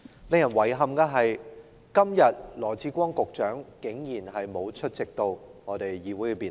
令人感到遺憾的是，羅致光局長今天竟然沒有出席立法會的辯論。